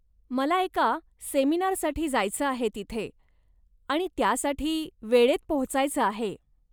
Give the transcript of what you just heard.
मला एका सेमिनारसाठी जायचं आहे तिथे, आणि त्यासाठी वेळेत पोहोचायचं आहे.